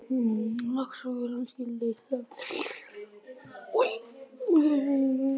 Laxalóni skyldi slátrað.